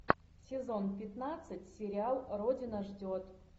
сезон пятнадцать сериал родина ждет